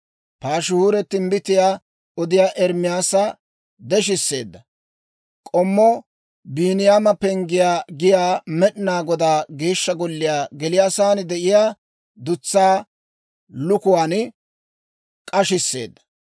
Paashihuuri timbbitiyaa odiyaa Ermaasa deshisseedda; K'ommo Biiniyaama Penggiyaa giyaa Med'inaa Godaa Geeshsha Golliyaa geliyaasan de'iyaa dutsaa lukuwaan k'ashisseedda.